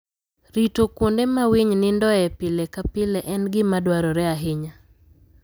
Rito kuonde ma winy nindoe pile ka pile en gima dwarore ahinya.